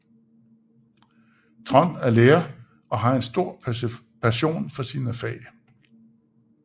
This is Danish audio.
Trond er lærer og har en stor passion for sine fag